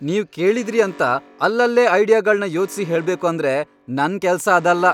ನೀವ್ ಕೇಳಿದ್ರಿ ಅಂತ ಅಲ್ಲಲ್ಲೇ ಐಡಿಯಾಗಳ್ನ ಯೋಚ್ಸಿ ಹೇಳ್ಬೇಕು ಅಂದ್ರೆ ನನ್ ಕೆಲ್ಸ ಅದಲ್ಲ.